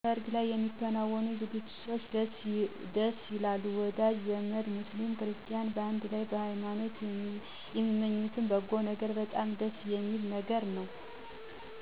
ሰርግላይ ስለሚከናወኑ ዝግጅቶች ደስይላሉ ወዳዥ ዘመድ ሙስሊም ክርስቲያኑ በአንድ ላይ በየሀይማኖት የሚመኙት በጎነገር በጣም ደስየሚል ነገር ነው